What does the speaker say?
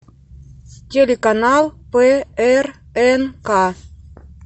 телеканал прнк